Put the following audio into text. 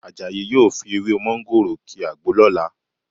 Àjàyí yóò fi ewé mọ́ńgòrò ki àgbo lọ́la